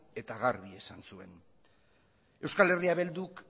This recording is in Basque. eta garbi esan zuen eh